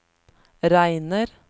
regner